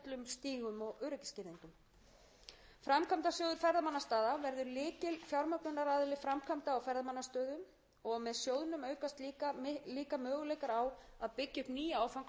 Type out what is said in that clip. stígum og öryggisgirðingum framkvæmdasjóður ferðamannastaða verði lykilfjármögnunaraðili framkvæmda á ferðamannastöðum og með sjóðnum aukast líka möguleikar á að byggja upp nýja áfangastaði og dreifa þannig ferðamönnum betur